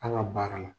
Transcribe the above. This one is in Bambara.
An ka baara la